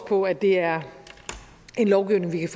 på at det er en lovgivning vi